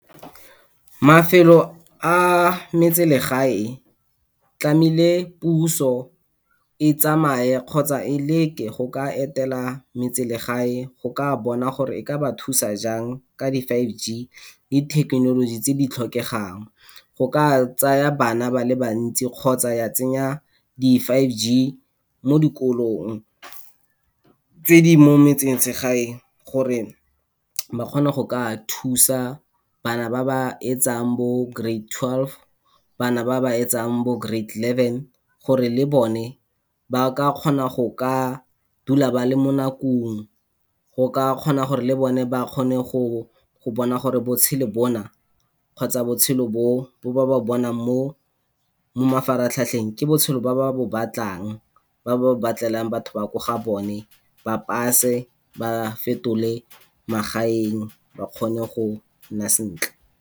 Mafelo a metselegae, tlamehile puso e tsamaye kgotsa e leke go ka etela metselegae, go ka bona gore e ka ba thusa jang ka di five G le thekenoloji tse di tlhokegang. Go ka tsaya bana ba le bantsi kgotsa ya tsenya di five G mo dikolong tse di mo metsesegae, gore ba kgona go ka thusa bana ba ba etsang bo grade twelve, bana ba ba etsang bo grade eleven, gore le bone ba ka kgona go ka dula ba le mo nakong, go ka kgona gore le bone ba kgone go bona gore botshelo bona, kgotsa botshelo bo, bo ba ba bo bonang mo mafaratlhatlheng ke botshelo ba ba bo batlang, ba ba bo batlelang batho ba ko gabone, ba pass-e, ba fetole magaeng, ba kgone go nna sentle.